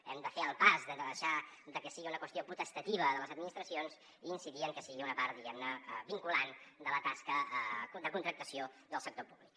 hem de fer el pas de deixar de que sigui una qüestió potestativa de les administracions i incidir en que sigui una part diguem ne vinculant de la tasca de contractació del sector públic